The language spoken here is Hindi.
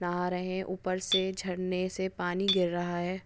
नहा रहे उपर से झरणे से पानी गीर रहा है।